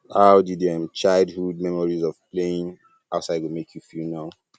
how di di um childhood memories of playing um outside go make you feel now